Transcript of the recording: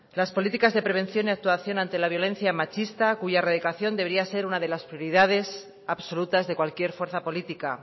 las políticas de prevención y actuación ante la violencia machista cuya erradicación debería ser una de las prioridades absolutas de cualquier fuerza política